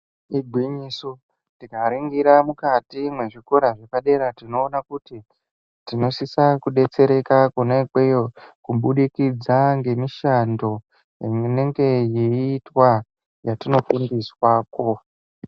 Igwinyiso tikaningira mukati mwezviko zvepadera tinoona kuti tinosisa kudetsereka kona ikweyo kubudikidza ngemishando inenge yeitwa yatinofundiswa ko.